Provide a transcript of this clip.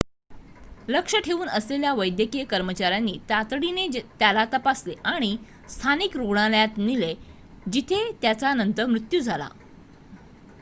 लक्ष ठेऊन असलेल्या वैद्यकीय कर्मचाऱ्यांनी तातडीने त्याला तपासले आणि स्थानिक रुग्णालयात नेले जिथे त्याचा नंतर मृत्यू झाला